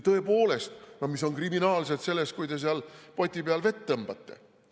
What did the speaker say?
Tõepoolest, mis on kriminaalset selles, kui te seal poti peal vett tõmbate?